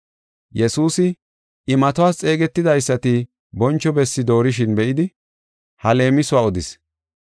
Yesuusi imatuwas xeegetidaysati boncho bessi doorishin be7idi, ha leemisuwa odis: